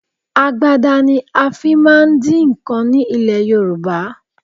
Agbada ni a fi máa ń dín nǹkan ní ilẹ̀ Yorùbá